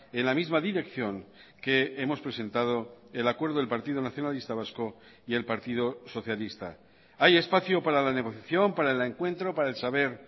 en la misma dirección que hemos presentado el acuerdo del partido nacionalista vasco y el partido socialista hay espacio para la negociación para el encuentro para el saber